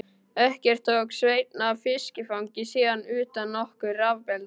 Ekkert tók Sveinn af fiskifangi sínu utan nokkur rafabelti.